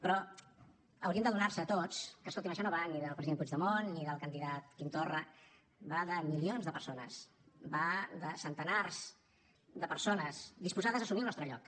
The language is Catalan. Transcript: però haurien d’adonar se tots que escoltin això no va ni del president puigdemont ni del candidat quim torra va de milions de persones va de centenars de persones disposades a assumir el nostre lloc